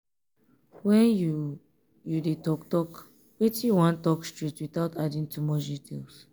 when you you dey talk talk wetin you wan talk straight without adding too much details